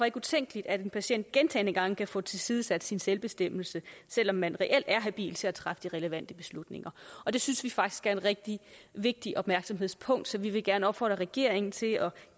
ikke utænkeligt at en patient gentagne gange kan få tilsidesat sin selvbestemmelse selv om man reelt er habil til at træffe de relevante beslutninger og det synes vi faktisk er et rigtig vigtigt opmærksomhedspunkt så vi vil gerne opfordre regeringen til at